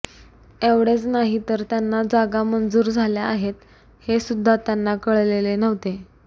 एवढेच नाही तर त्यांना जागा मंजूर झाल्या आहेत हेसुद्धा त्यांना कळलेले नव्हते